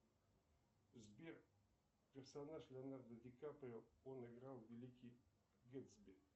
сбер персонаж леонардо ди каприо он играл великий гэтсби